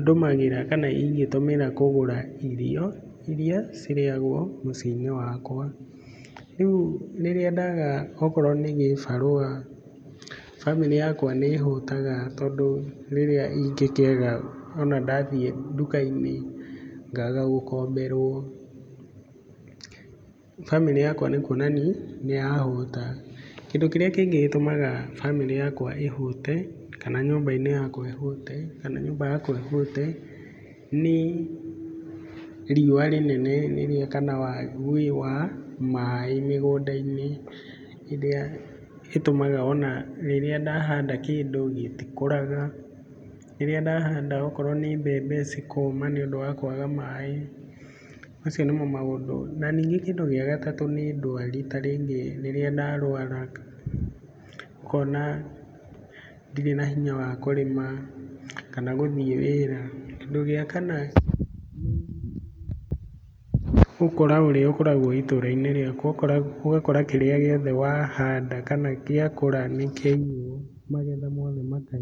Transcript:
ndũmagĩra kana ingitũmĩra kũgũra irio irĩa cirĩagwo mũciĩ-inĩ wakwa. Rĩu rĩrĩa ndaga okorwo nĩ kĩbarũa bamĩrĩ yakwa nĩ ĩhũtaga ,tondũ rĩrĩa ingĩkĩaga ona ndathiĩ nduka-inĩ ngaga gũkomberwo, bamĩrĩ yakwa nĩ kuonania nĩ yahũta. Kĩndũ kĩrĩa kĩngĩ gĩtũmaga bamĩrĩ yakwa ĩhũte, kana nyũmba yakwa ĩhũte, kana nyũmba yakwa ĩhũte, nĩ riũa rĩnene kana waagi wa maĩ mĩgũnda-inĩ, ĩrĩa ĩtũmaga ona rĩrĩa ndahanda kĩndũ gĩtikũraga. Rĩrĩa ndahanda okorwo nĩ mbembe cikoma, nĩ ũndũ wa kwaga maĩ. Macio nĩmo maũndũ, na ningĩ kĩndũ gĩa gatatũ, nĩ ndũari, ta rĩngĩ rĩrĩa ndarũara ũkona ndirĩ na hinya wa kũrĩma kana gũthiĩ wĩra. Kĩndũ gĩa kana nĩ ũkora ũrĩa ũkoragwo itũra-inĩ rĩaku ũgakora kĩrĩa gĩothe wahanda kana gĩakũra nĩ kĩaiywo magetha mothe maka...